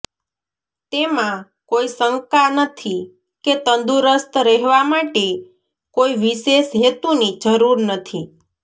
તેમાં કોઈ શંકા નથી કે તંદુરસ્ત રહેવા માટે કોઈ વિશેષ હેતુની જરૂર નથી